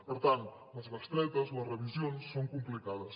per tant les bestretes les revisions són complicades